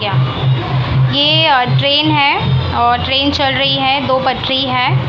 ये अ ट्रेन है और ट्रेन चल रही है दो पटरी है।